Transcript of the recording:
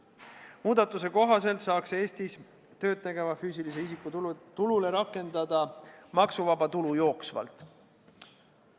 Muudatuse kohaselt saaks Eestis tööd tegeva füüsilise isiku tulule rakendada maksuvaba tulu jooksvalt.